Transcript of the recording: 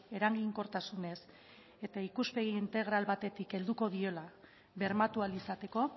eraginkortasunez eta ikuspegi integral batetik helduko diola bermatu ahal izateko